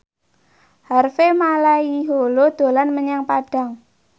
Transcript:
Harvey Malaiholo dolan menyang Padang